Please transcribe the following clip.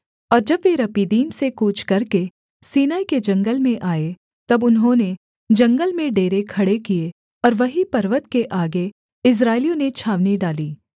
और जब वे रपीदीम से कूच करके सीनै के जंगल में आए तब उन्होंने जंगल में डेरे खड़े किए और वहीं पर्वत के आगे इस्राएलियों ने छावनी डाली